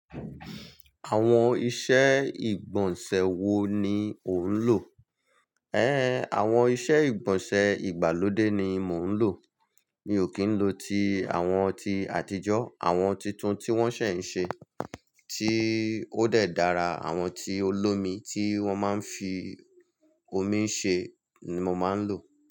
Àwọn iṣẹ́ ìgbọ̀nsẹ̀ wo ni ò ń lò? Ẹ́n, àwọn iṣẹ́ ìgbọ̀nsẹ̀ ìgbàlódé ni mò ń lò. Mi ò kì í lo ti àwọn ti àtijọ́. Àwọn titun tí wọ́n ṣẹ̀ ń ṣe tí ó dẹ̀ dára, àwọn tí olómi tí wọ́n máa fi omi ṣẹ ni mò máa ń lò.